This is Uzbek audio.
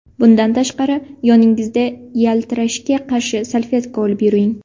Bundan tashqari, yoningizda yaltirashga qarshi salfetka olib yuring.